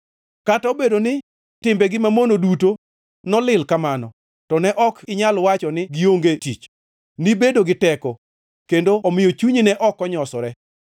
Kata nobedo ni timbegi mamono duto nooli kamano; to ne ok inyal wacho ni, ‘Gionge tich.’ Nibedo gi teko kendo omiyo chunyi ne ok onyosore.